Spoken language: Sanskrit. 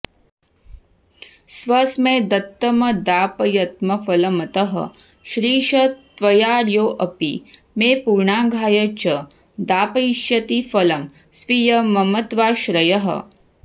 स्वस्मै दत्तमदापयत्फलमतः श्रिश त्वयार्योऽपि मे पूर्णाघाय च दापयिष्यति फलं स्वीयं ममत्वाश्रयः